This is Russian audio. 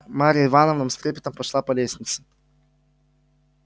марья ивановна с трепетом пошла по лестнице